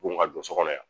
Bon ka don so kɔnɔ yan